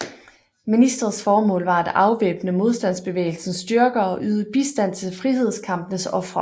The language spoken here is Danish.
Ministeriets formål var at afvæbne modstandsbevægelsens styrker og og yde bistand til frihedskampens ofre